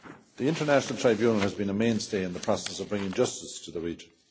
The International Tribunal has been a mainstay in the process of bringing justice to the region.